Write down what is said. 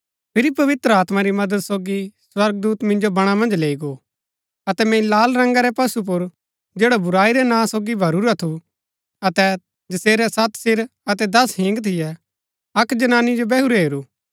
फिरी पवित्र आत्मा री मदद सोगी स्वर्गदूत मिन्जो बणा मन्ज लैई गो अतै मैंई लाल रंगा रै पशु पुर जैडा बुराई रै नां सोगी भरूरा थू अतै जसेरै सत सिर अतै दस हिंग थियै अक्क जनानी जो बैहुरै हेरू